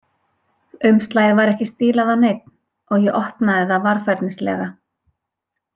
Umslagið var ekki stílað á neinn, og ég opnaði það varfærnislega.